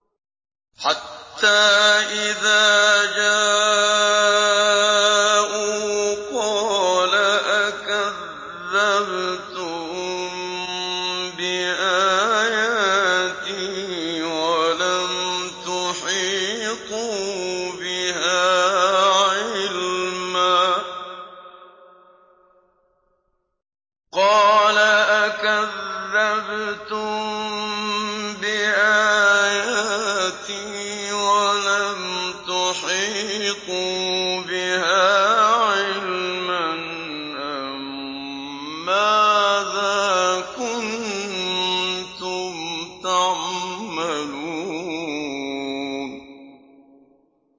حَتَّىٰ إِذَا جَاءُوا قَالَ أَكَذَّبْتُم بِآيَاتِي وَلَمْ تُحِيطُوا بِهَا عِلْمًا أَمَّاذَا كُنتُمْ تَعْمَلُونَ